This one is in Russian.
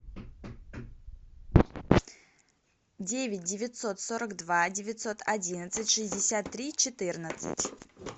девять девятьсот сорок два девятьсот одиннадцать шестьдесят три четырнадцать